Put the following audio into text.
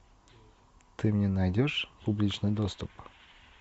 ты мне найдешь публичный доступ